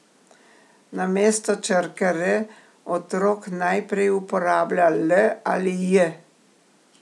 Namesto črke r, otrok najprej uporablja l ali j.